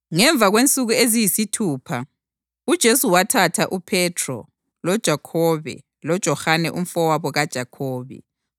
Ngemva kwensuku eziyisithupha, uJesu wathatha uPhethro, loJakhobe loJohane umfowabo kaJakhobe wakhwela labo entabeni ephakemeyo lapho ababa bodwa khona.